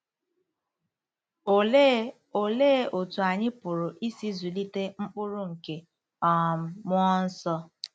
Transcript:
Olee Olee otú anyị pụrụ isi zụlite mkpụrụ nke um mmụọ nsọ?